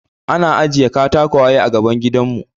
An ajiye katakwaye a gaban gidanmu.